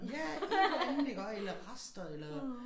Ja et eller andet iggå eller rester eller